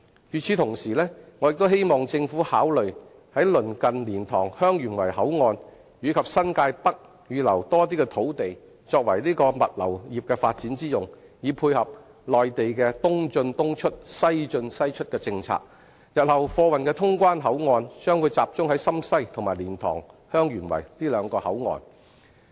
與此同時，我也希望政府考慮鄰近蓮塘/香園圍口岸及新界北預留更多的土地作為物流業發展之用，以配合內地的"東進東出，西進西出"的政策，日後貨運的通關口岸將集中在深西及蓮塘/香園圍兩個口岸。